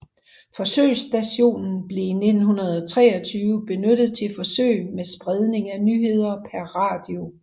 Forsøgsstationen blev i 1923 benyttet til forsøg med spredning af nyheder per radio